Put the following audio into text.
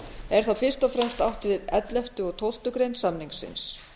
er þar fyrst og fremst átt við ellefta og tólftu greinar samningsins